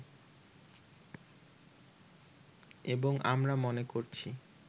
এবং আমরা মনে করছি